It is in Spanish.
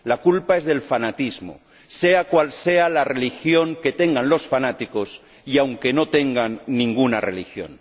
la culpa es del fanatismo, sea cual sea la religión que tengan los fanáticos y aunque no tengan ninguna religión.